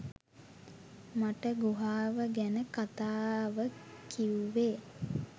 මට ගුහාව ගැන කතාව කිව්වේ